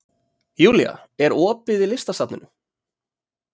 Julia, er opið í Listasafninu?